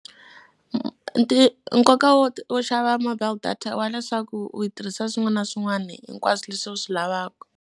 nkoka wo wo xava mobile data i wa leswaku u yi tirhisa swin'wana na swin'wana hinkwaswo leswi u swi lavaka.